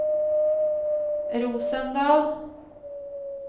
Rosendal